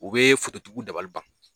U bɛ fototigiw dabali ban